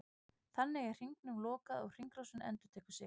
Þannig er hringnum lokað og hringrásin endurtekur sig.